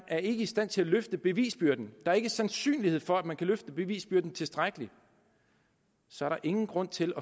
er i stand til at løfte bevisbyrden at der ikke er sandsynlighed for at man kan løfte bevisbyrden tilstrækkeligt så er der ingen grund til